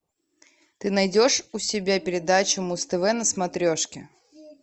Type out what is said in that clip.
ты найдешь у себя передачу муз тв на смотрешке